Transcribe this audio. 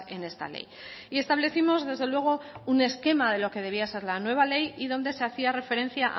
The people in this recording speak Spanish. en esta ley y establecimos desde luego un esquema de lo que debía ser la nueva ley y donde se hacía referencia a